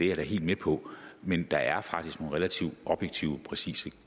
jeg da helt med på men der er faktisk nogle relativt objektive præcise